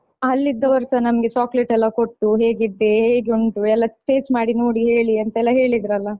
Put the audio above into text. ಅಲ್ಲಿದ್ದವರುಸ ನಮ್ಗೆ chocolate ಎಲ್ಲಾ ಕೊಟ್ಟು ಹೇಗಿದೆ ಹೇಗೆ ಉಂಟು ಎಲ್ಲ taste ಮಾಡಿ ನೋಡಿ ಹೇಳಿ ಅಂತೆಲ್ಲಾ ಹೇಳಿದ್ರಲ್ಲ.